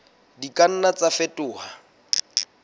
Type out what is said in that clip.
di ka nna tsa fetoha